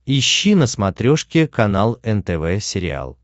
ищи на смотрешке канал нтв сериал